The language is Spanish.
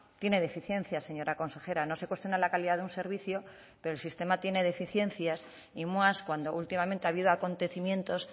tiene deficiencias señora consejera no se cuestiona la calidad de un servicio pero el sistema tiene deficiencias y más cuando últimamente ha habido acontecimientos